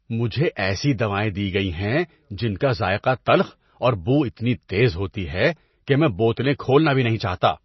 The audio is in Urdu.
مجھے ایسی دوائیں دی گئی ہیں جن کا ذائقہ تلخ اور بو اتنی تیز ہوتی ہے کہ میں بوتلیں کھولنا بھی نہیں چاہتا۔